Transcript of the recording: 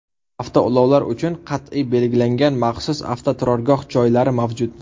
Avtoulovlar uchun qat’iy belgilangan maxsus avtoturargoh joylari mavjud.